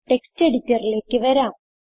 text എഡിറ്ററിലേക്ക് വരാം